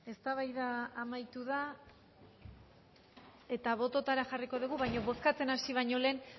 eztabaida amaitu da eta bototara jarriko dugu baina bozkatzen hasi baino lehen